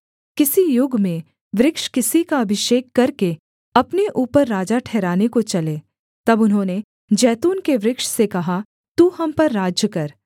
किसी युग में वृक्ष किसी का अभिषेक करके अपने ऊपर राजा ठहराने को चले तब उन्होंने जैतून के वृक्ष से कहा तू हम पर राज्य कर